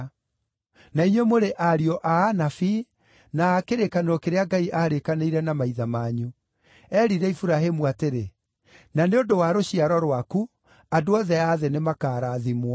Na inyuĩ mũrĩ ariũ a anabii, na a kĩrĩkanĩro kĩrĩa Ngai aarĩkanĩire na maithe manyu. Eerire Iburahĩmu atĩrĩ, ‘Na nĩ ũndũ wa rũciaro rwaku, andũ othe a thĩ nĩmakarathimwo.’